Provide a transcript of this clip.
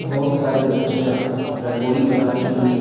बहुत सारी बच्चियां रंगोली बनाती हुई --